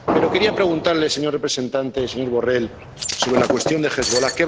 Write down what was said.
Pero quería preguntarle, señor representante, señor Borrell, sobre la cuestión de Hezbolá.